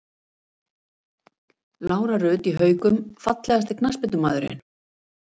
Lára Rut í Haukum Fallegasti knattspyrnumaðurinn?